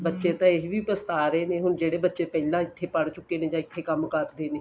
ਬੱਚੇ ਤਾਂ ਇਹ ਵੀ ਪਛਤਾ ਰਹੇ ਨੇ ਹੁਣ ਜਿਹੜੇ ਬੱਚੇ ਪਹਿਲਾਂ ਇੱਥੇ ਪੜ੍ਹ ਚੁਕੇ ਨੇ ਜਾਂ ਇੱਥੇ ਕੰਮ ਕਰਦੇ ਨੇ